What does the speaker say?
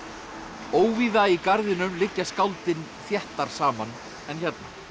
óvíða í garðinum liggja skáldin þéttar saman en hérna